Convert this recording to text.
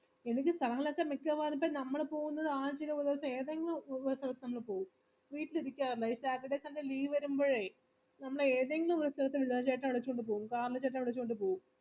പിന്നെ നമ്മള് പോകുന്നത് നമ്മള് പോവും വീട്ടിലിരിക്കാറില്ല ഒര് saturday sunday leave വരുമ്പഴേ നമ്മള് ഏതെങ്കിലും പോവും വിളിച്ചോണ്ട് പോവും